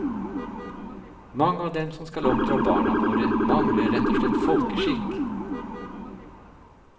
Mange av dem som skal oppdra barna våre, mangler rett og slett folkeskikk.